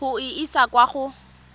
go e isa kwa go